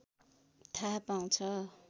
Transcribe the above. थाहा पाउँछ